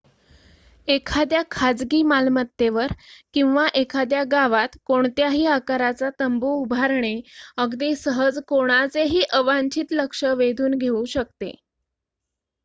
एखाद्या खाजगी मालमत्तेवर किंवा एखाद्या गावात कोणत्याही आकाराचा तंबू उभारणे अगदी सहज कोणाचेही अवांछित लक्ष वेधून घेऊ शकते